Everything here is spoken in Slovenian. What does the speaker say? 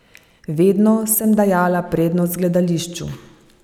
Vedno sem dajala prednost gledališču.